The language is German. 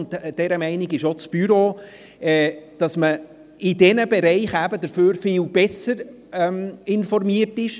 Auch das Büro ist der Meinung, dass man in diesen Bereichen viel besser informiert ist.